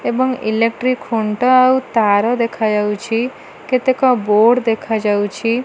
ଏବଂ ଇଲେକ୍ଟ୍ରି ଖୁଣ୍ଟ ଆଉ ତାର ଦେଖାଯାଉଛି କେତେକ ବୋଡ଼ ଦେଖାଯାଉଛି।